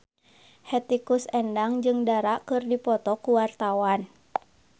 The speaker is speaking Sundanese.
Hetty Koes Endang jeung Dara keur dipoto ku wartawan